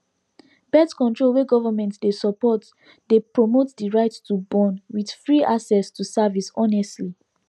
birthcontrol wey government dey support dey promote the right to born with free access to service honestly